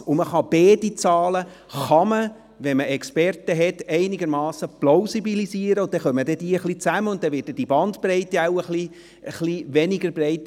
Mithilfe von Experten lassen sich die beiden Zahlen aber plausibilisieren, sodass beide Seiten zusammenrücken können und die Bandbreite schmäler wird.